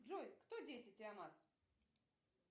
джой кто дети тиамат